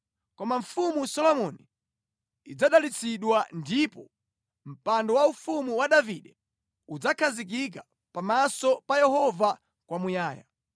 Koma Mfumu Solomoni idzadalitsidwa ndipo mpando waufumu wa Davide udzakhazikika pamaso pa Yehova kwamuyaya.”